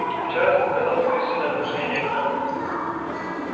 вчера ты показал своё истинное отношение к нам